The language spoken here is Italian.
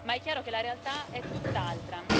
Ma è chiaro che la realtà è tutt'altra.